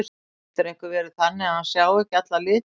Getur einhver verið þannig að hann sjái ekki alla liti?